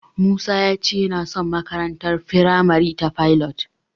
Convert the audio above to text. Musa ya ce yana son makarantar firamare ta Pilot.